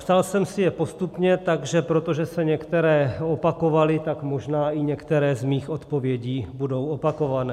Psal jsem si je postupně, a protože se některé opakovaly, tak možná i některé z mých odpovědí budou opakované.